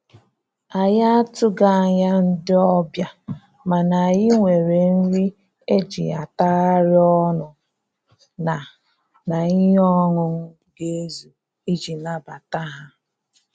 Anyị atụghị anya ndị ọbịa, mana anyị nwere nri e ji atagharị ọnụ na na ihe ọńụńụ ga ezu iji nabata ha